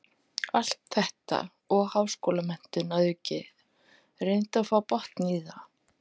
Allt þetta og háskólamenntun að auki, reyndu að fá botn í það.